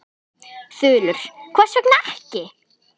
Þulur: Hvers vegna ekki?